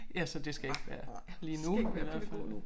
Ja så det skal ikke være lige nu i hvert fald